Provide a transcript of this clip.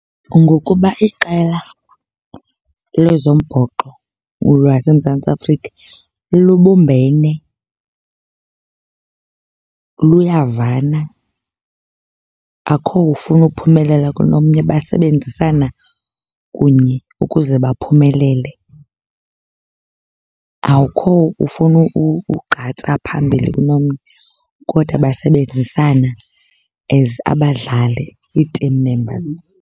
Ngokuba iqela lezombhoxo lwaseMzantsi Afrika lubumbene, luyavana, akho ufuna ukuphumelela kunomnye. Basebenzisana kunye ukuze baphumelele. Awukho ufuna ukugqatsa phambili kunomnye kodwa basebenzisana as abadlali, ii-team members.